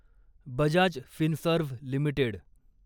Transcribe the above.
Bajaj Finserv limited